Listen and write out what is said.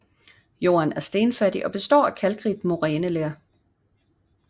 Jorden er stenfattig og består af kalkrigt moræneler